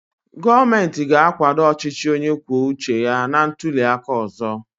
Gọọmentị ga-akwado ọchịchị onye kwuo uche ya na ntuli aka ọzọ.